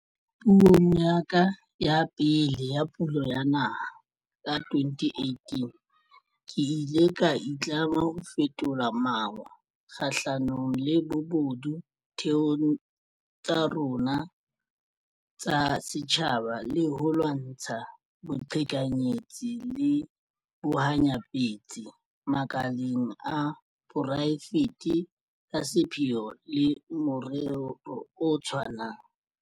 Puong ya ka ya pele ya Pulo ya Naha, ka 2018, ke ile ka itlama ka ho fetola mawa kgahlanong le bobodu ditheong tsa rona tsa setjhaba le ho lwantsha boqhekanyetsi le bohanyapetsi makaleng a poraefete ka sepheo le morero o tshwanang.